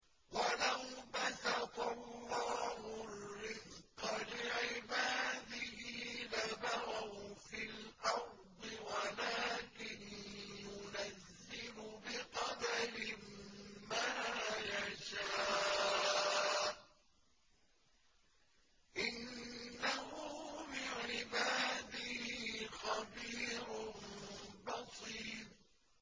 ۞ وَلَوْ بَسَطَ اللَّهُ الرِّزْقَ لِعِبَادِهِ لَبَغَوْا فِي الْأَرْضِ وَلَٰكِن يُنَزِّلُ بِقَدَرٍ مَّا يَشَاءُ ۚ إِنَّهُ بِعِبَادِهِ خَبِيرٌ بَصِيرٌ